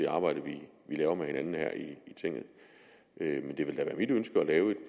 arbejde vi laver med hinanden her i tinget men det vil da være mit ønske at lave et